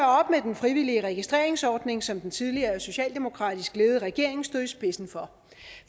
den frivillige registreringsordning som den tidligere socialdemokratisk ledede regering stod i spidsen for